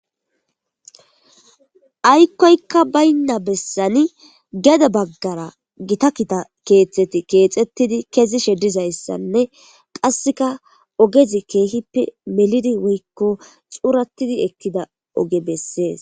aykkoykka baynna bessani gede baggara gita kita keexeti keexettidi kezishe dizayssanne qasseka ogezi keehippe melidi woykko xuurattidi ekkida oge bessees.